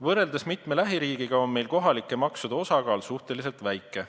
Võrreldes mitme lähiriigiga on meil kohalike maksude osakaal suhteliselt väike.